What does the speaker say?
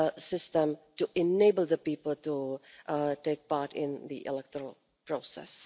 their system to enable people to take part in the electoral process.